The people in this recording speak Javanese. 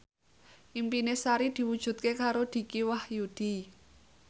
impine Sari diwujudke karo Dicky Wahyudi